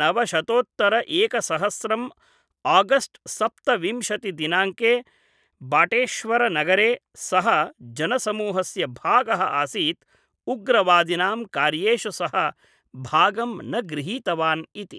नवशतोत्तर एकसहस्रम् आगस्ट् २७ दिनाङ्के बाटेश्वर नगरे सः जनसमूहस्य भागः आसीत्, उग्रवादिनां कार्येषु सः भागं न गृहीतवान् इति।